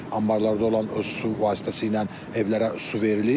Ambarlarda olan su vasitəsilə evlərə su verilir.